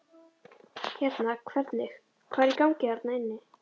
Hérna hvernig, hvað er í gangi þarna inni?